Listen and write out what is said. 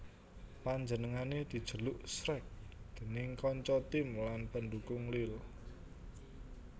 Panjenengané dijeluk Shrek déning kanca tim lan pendukung Lille